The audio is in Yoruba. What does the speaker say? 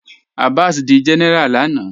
Abás dí géneráá lànà